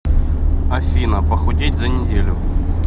афина похудеть за неделю